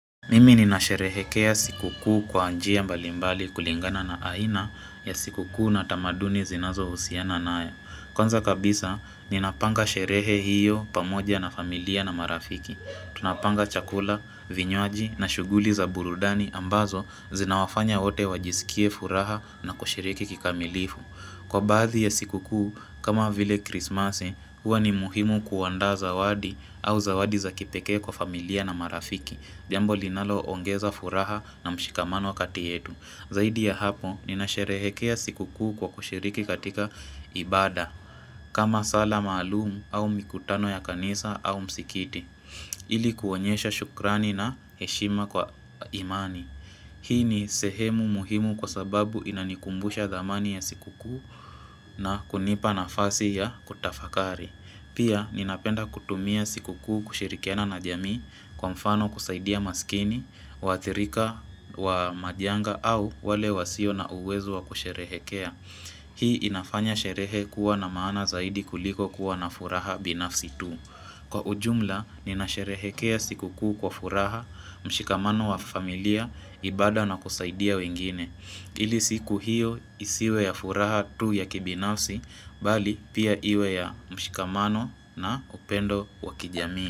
Mimi nina sherehekea siku kuu kwa njia mbalimbali kulingana na aina ya siku kuu na tamaduni zinazo husiana nayo. Kwanza kabisa, ninapanga sherehe hiyo pamoja na familia na marafiki. Tunapanga chakula, vinywaji na shughuli za burudani ambazo zinawafanya wote wajiskie furaha na kushiriki kikamilifu. Kwa baadhi ya siku kuu, kama vile krismasi, huwa ni muhimu kuaanda zawadi au zawadi za kipekee kwa familia na marafiki. Jambo linalo ongeza furaha na mshikamano wa kati yetu Zaidi ya hapo ninasherehekea sikukuu kwa kushiriki katika ibada kama sala maalum au mikutano ya kanisa au msikiti ili kuonyesha shukrani na heshima kwa imani Hii ni sehemu muhimu kwa sababu inanikumbusha dhamani ya sikukuu na kunipa nafasi ya kutafakari Pia ninapenda kutumia sikukuu kushirikiana na jamii Kwa mfano kusaidia maskini, waathirika wa majanga au wale wasio na uwezo wa kusherehekea Hii inafanya sherehe kuwa na maana zaidi kuliko kuwa na furaha binafsi tu Kwa ujumla, nina sherehekea siku kuu kwa furaha, mshikamano wa familia, ibada na kusaidia wengine ili siku hiyo isiwe ya furaha tu ya kibinafsi, bali pia iwe ya mshikamano na upendo wa kijamii.